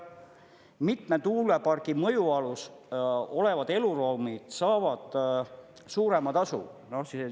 Mitme tuulepargi mõjualas olevad eluruumid saavad suurema tasu.